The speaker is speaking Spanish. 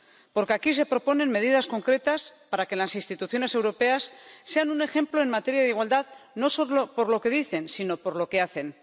Porque aquí se proponen medidas concretas para que las instituciones europeas sean un ejemplo en materia de igualdad, no solo por lo que dicen, sino por lo que hacen.